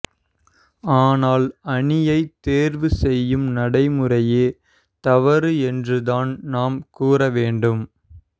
ஆனால் அணியை தேர்வு செய்யும் நடைமுறையே தவறு என்றுதான் நாம் கூற வேண்டும்